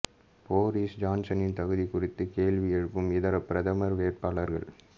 Boris ஜான்சனின் தகுதி குறித்து கேள்வி எழுப்பும் இதர பிரதமர் வேட்பாளர்கள்